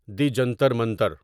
دی جنتر منتر